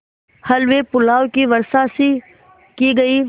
हलवेपुलाव की वर्षासी की गयी